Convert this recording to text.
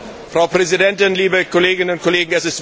Frau Präsidentin, liebe Kolleginnen und Kollegen!